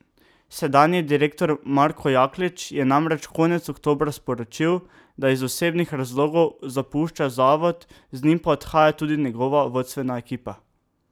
Sedanji direktor Marko Jaklič je namreč konec oktobra sporočil, da iz osebnih razlogov zapušča zavod, z njim pa odhaja tudi njegova vodstvena ekipa.